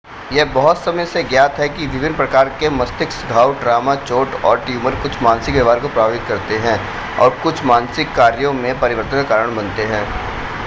यह बहुत समय से ज्ञात है कि विभिन्न प्रकार के मस्तिष्क घाव ट्रॉमा चोट और ट्यूमर कुछ मानसिक व्यवहार को प्रभावित करते हैं और कुछ मानसिक कार्यों में परिवर्तन का कारण बनते हैं